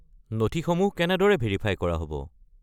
নথিসমূহ কেনেদৰে ভেৰিফাই কৰা হ'ব?